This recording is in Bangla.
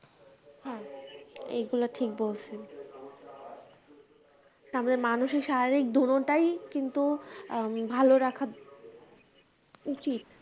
হ্যাঁ এগুলো ঠিক বলছেন তারপরে মানুষের শারীরিক দুরতাই কিন্তু ভালো রাখা উচিত